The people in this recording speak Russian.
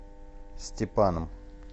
степаном